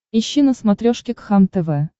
ищи на смотрешке кхлм тв